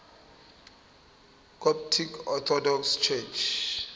coptic orthodox church